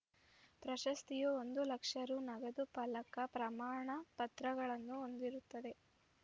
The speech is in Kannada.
ಪ್ರಶಸ್ತಿಯು ಒಂದು ಲಕ್ಷ ರು ನಗದು ಫಲಕ ಪ್ರಮಾಣ ಪತ್ರಗಳನ್ನು ಹೊಂದಿರುತ್ತದೆ